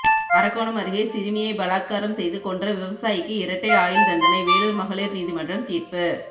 அரக்கோணம் அருகே சிறுமியை பலாத்காரம் செய்து கொன்ற விவசாயிக்கு இரட்டை ஆயுள் தண்டனை வேலூர் மகளிர் நீதிமன்றம் தீர்ப்பு